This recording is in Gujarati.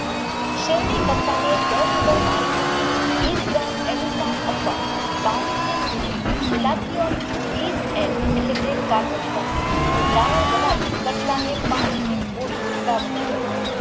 શેરડી કટકાને દસ લીટર પાણીમાં વિષ ગ્રામ અથવા બાવીશ જેમ Mili વિષ એમ એટલે કે કારબોડીગામ નું દ્રાવણ બનાવી કટકાને પાંચ મીન બોળી વાવેતર કરવું